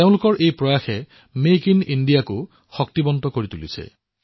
তেওঁলোকৰ এই প্ৰয়াসে মেক ইন ইণ্ডিয়াক সৱলীকৃত কৰি তুলিছে